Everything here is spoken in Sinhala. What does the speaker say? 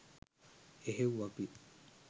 එහෙව් අපි